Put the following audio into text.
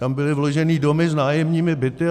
Tam byly vloženy domy s nájemními byty.